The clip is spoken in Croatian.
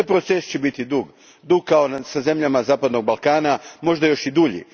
Taj proces će biti dug, kao sa zemljama zapadnog Balkana, možda još i dulji.